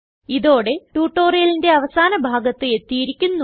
ഇതോടെ ട്യൂട്ടോറിയലിന്റെ അവസാന ഭാഗത്ത് എത്തിയിരിക്കുന്നു